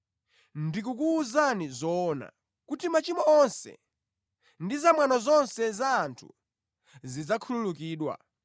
Ndikukuwuzani zoona kuti machimo onse ndi zamwano zonse za anthu zidzakhululukidwa,